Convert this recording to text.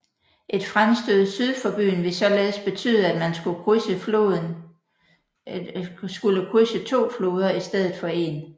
Et fremstød syd for byen ville således betyde at man skulle krydse to floder i stedet for en